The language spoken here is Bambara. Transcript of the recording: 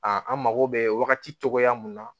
an mago bɛ wagati cogoya min na